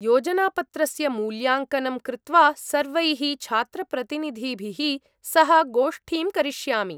-योजनापत्रस्य मूल्याङ्कनं कृत्वा सर्वैः छात्रप्रतिनिधिभिः सह गोष्ठीं करिष्यामि।